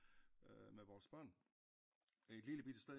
Med vores bør et lille bitte sted